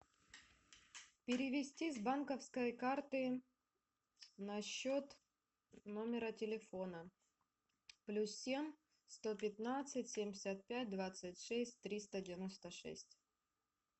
перевести с банковской карты на счет номера телефона плюс семь сто пятнадцать семьдесят пять двадцать шесть триста девяносто шесть